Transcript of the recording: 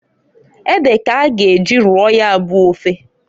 Ede k'a ga eji roo ya bụ ofe.